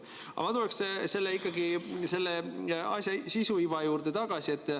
Aga ma tuleksin ikkagi selle asja sisu, iva juurde tagasi.